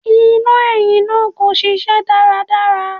Iná ẹ̀yìn náà kò ṣiṣẹ́ dáadáa.